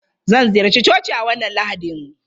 Zan ziyarci coci a wannan Lahadin.